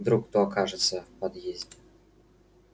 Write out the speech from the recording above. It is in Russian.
вдруг кто окажется в подъезде